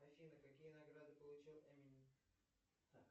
афина какие награды получил эминем